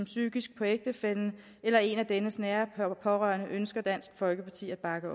psykisk på ægtefællen eller en af dennes nære pårørende ønsker dansk folkeparti at bakke